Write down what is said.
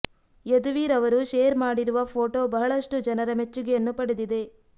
ಯದುವೀರ್ ಅವರು ಶೇರ್ ಮಾಡಿರುವ ಫೋಟೋ ಬಹಳಷ್ಟು ಜನರ ಮೆಚ್ಚುಗೆಯನ್ನು ಪಡೆದಿದೆ